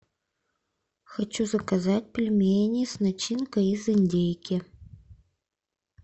хочу заказать пельмени с начинкой из индейки